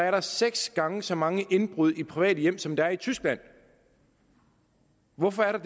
er seks gange så mange indbrud i private hjem som der er i tyskland hvorfor er der